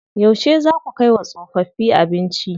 Yauce zaa ku kai wa tsofaffi abinci?